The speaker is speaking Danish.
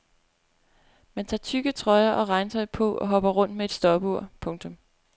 Man tager tykke trøjer og regntøj på og hopper rundt med et stopur. punktum